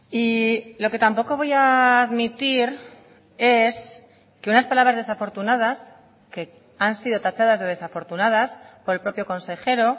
y lo que tampoco voy a admitir es que unas palabras desafortunadas que han sido tachadas de desafortunadas por el propio consejero